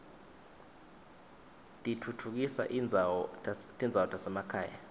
titfutfukisa tindzawo tasemakhaya